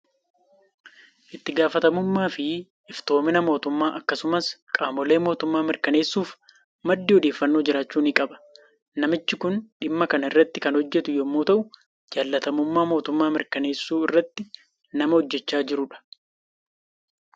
Itti gaafatamummaa fi iftoomina mootummaa akkasumas qaamolee mootummaa mirkaneessuuf maddi odeeffannoo jiraachuu ni qaba. Namichi kun dhimma kana irratti kan hojjetu yommuu ta'u, jaalatamummaa mootummaa mirkaneessuu irratti nama hojjechaa jirudha.